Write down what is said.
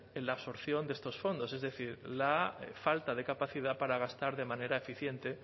en la absorción de estos fondos es decir la falta de capacidad para gastar de manera eficiente